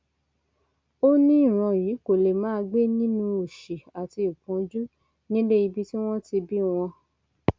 ó ní ìran yìí kó lè máa gbé nínú òṣì àti ìpọnjú nílé ibi tí wọn ti bí wọn